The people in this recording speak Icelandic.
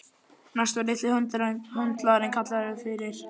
Næst var litli höndlarinn kallaður fyrir.